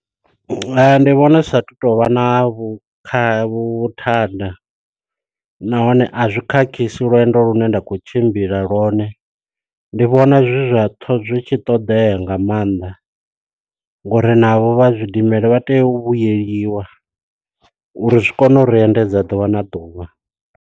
Ndi vhona zwi sa athu tovha na vhukhakhi vhuthada nahone a zwi khakhisi lwendo lu ne nda khou tshimbila lwone. Ndi vhona zwi zwa zwi tshi ṱoḓea nga maanḓa ngo uri navho vha zwidimela vha tea u vhuyeliwa uri zwi kone u ri endedza ḓuvha na ḓuvha.